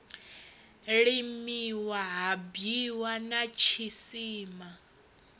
limiwa ha bwiwa na tshisima